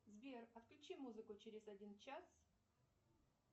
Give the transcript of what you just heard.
сбер отключи музыку через один час